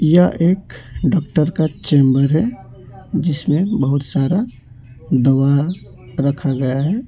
यह एक डॉक्टर का चैंबर है जिसमें बहुत सारा दवा रखा गया है।